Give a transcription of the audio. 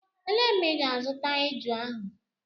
Elee mgbe ị ga-azụta eju ahụ?